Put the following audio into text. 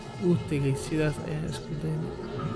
Wuutagey ,sidhas ayan iskudane.